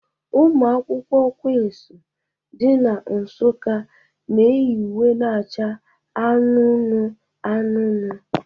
Ụmụ akwụkwọ Quinsu dị na Nsukka na-eyi uwe na-acha anụnụ anụnụ.